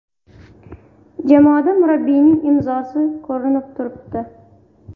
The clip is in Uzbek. Jamoada murabbiyning imzosi ko‘rinib turibdi.